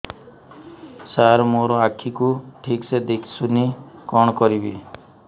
ସାର ମୋର ଆଖି କୁ ଠିକସେ ଦିଶୁନି କଣ କରିବି